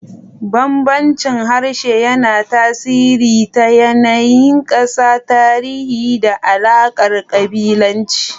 Bambancin harshe yana tasiri ta yanayin ƙasa, tarihi, da alaƙar kabilanci.